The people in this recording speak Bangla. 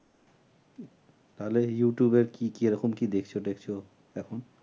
তাহলে youtube এ কি কি রকম কি দেখছো-টেখছো এখন?